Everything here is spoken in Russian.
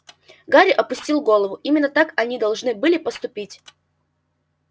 гарри опустил голову именно так они должны были поступить